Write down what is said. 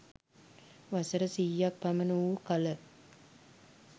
වසර සියයක් පමණ වූ කළ